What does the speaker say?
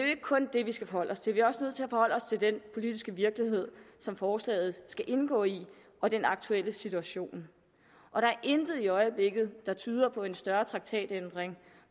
ikke kun det vi skal forholde os til vi er også nødt til at forholde os til den politiske virkelighed som forslaget skal indgå i og den aktuelle situation og der er intet i øjeblikket der tyder på en større traktatændring